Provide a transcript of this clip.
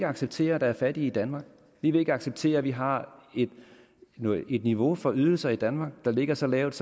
acceptere at der er fattige i danmark vi vil ikke acceptere at vi har et niveau for ydelser i danmark der ligger så lavt